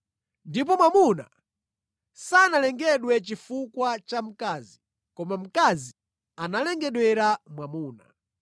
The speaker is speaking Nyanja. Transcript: Ndipo mwamuna sanalengedwe chifukwa cha mkazi, koma mkazi analengedwera mwamuna.